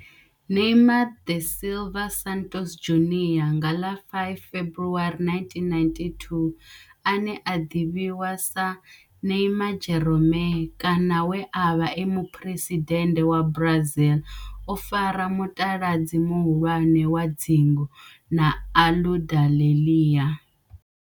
Neymar da Silva Santos Junior nga ḽa 5 February 1992, ane a ḓivhiwa sa Neymar' Jeromme kana we a vha e muphuresidennde wa Brazil o fara mutaladzi muhulwane wa dzingu na Aludalelia.